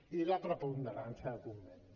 i la preponderància del conveni